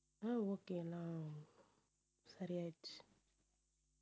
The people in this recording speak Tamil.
உம் okay எல்லாம் சரியாயிடுச்சு